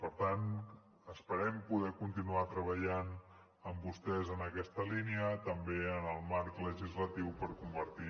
per tant esperem poder continuar treballant amb vostès en aquesta línia també en el marc legislatiu per convertir